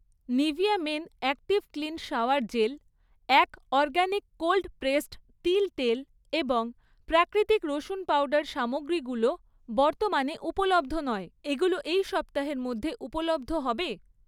Nivea men active clean shower gel, এক organic cold pressed তিল তেল এবং প্রাকৃতিক রসুন পাউডার সামগ্রীগুলো বর্তমানে উপলব্ধ নয়, এগুলো এই সপ্তাহের মধ্যে উপলব্ধ হবে